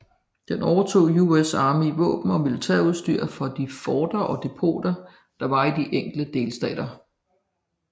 Den overtog US Armys våben og militærudstyr fra de forter og depoter der var i de enkelte delstater